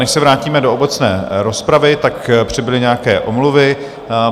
Než se vrátíme do obecné rozpravy, tak přibyly nějaké omluvy.